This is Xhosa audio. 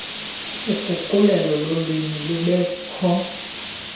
uguqulelo lolwimi lubekho